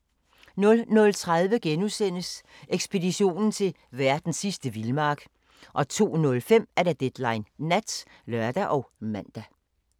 00:30: Ekspeditionen til verdens sidste vildmark * 02:05: Deadline Nat (lør og man)